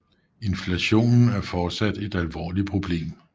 Inflationen er fortsat et alvorligt problem